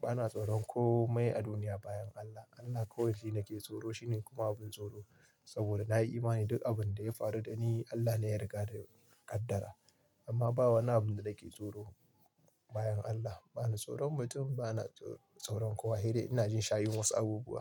Bana tsoron komai a duniya bayan Allah. Allah kawai shi nake tsoro, shi ne kuma abin tsoro saboda na yi imani duk abin da ya faru da ni Allah ne ya riga ya kaddara. Amma ba wani abu da nake tsoro bayan Allah. Bana tsoron mutum, bana tsoron kowa. Se dai ina jin shayin wasu abubuwa.